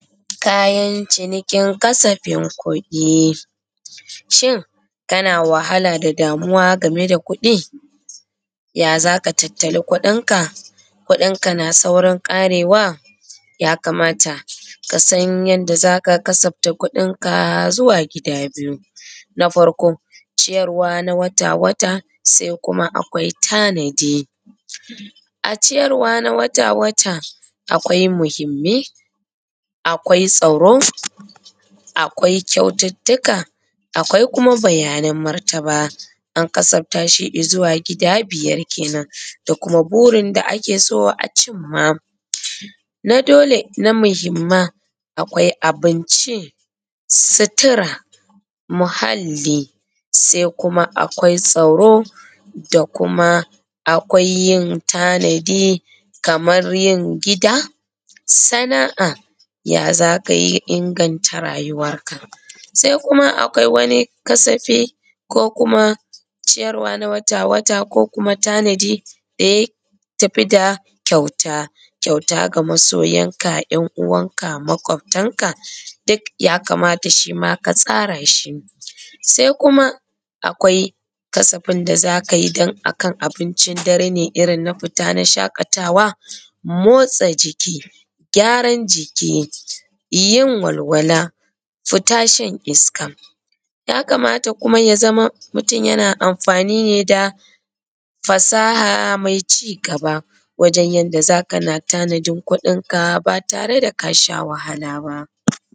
Kayan cinikin kasafin kuɗi. Shin kana wahala da damuwa ga mai da kuɗi? Ya za ka tattali kuɗin ka? Kuɗin ka na saurin ƙarewa? Ya kamata kasan yanda za ka kasafta kuɗinka zuwa gida biyu. Na farko ciyarwa na wata wata, sai kuma akwai tanadi, a ciyarwa na wata wata akwai muhimmai, akwai tsaro, akwai kyaututtuka, akwai kuma bayanan martaba. An kasafta shi izuwa gida biyar kenan, da kuma burin da ake so a cimma na dole na muhimman akwai abinci, sutura, muhalli, sai kuma akwai tsaro, da kuma akwai yin tanadi kamar yin gida, sana'a ya za ka inganta rayuwanka. Sai kuma akwai wani kasafi ko kuma ciyarwa na wata wata ko kuma tanadi da y atafi da kyauta, kyauta ga masoyanka, yanuwanka, maƙwabtanka duk ya kamata shi ma ka tsara shi. Sai kuma akwai kasafin da za ka yi don a kan abincin dare ne irin na fita na shaƙatawa, motsa jiki, gyaran jiki yin walwala, fita shan iska. ya kamata kuma ya zama mutun yana amfani ne da fasaha mai cigaba wajen yadda za ka na tanadin kuɗinka ba tare da ka sha wahala ba.